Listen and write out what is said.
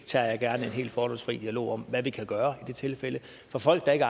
tager gerne en helt fordomsfri dialog om hvad vi kan gøre i de tilfælde for folk der ikke